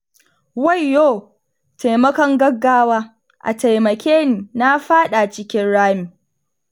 Wayyo! taimakon gaggawa, a taimake ni na fada cikin rami